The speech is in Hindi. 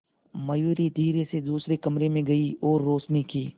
मयूरी धीरे से दूसरे कमरे में गई और रोशनी की